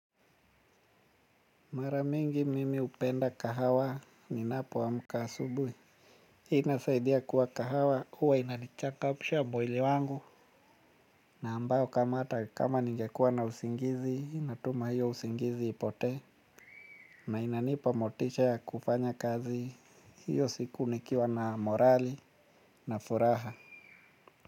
Mara mingi mimi hupenda kahawa ninapoamka asubuhi. Inasaidia kuwa kahawa huwa inanichangamsha mwili wangu. Na ambayo kama hata kama ningekuwa na usingizi natuma hiyo usingizi ipotee. Na inanipa motisha ya kufanya kazi hiyo siku nikiwa na morali na furaha.